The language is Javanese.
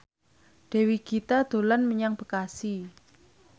Dewi Gita dolan menyang Bekasi